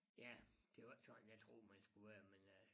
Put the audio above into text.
Ja det var ikke sådan jeg troede man skulle være men øh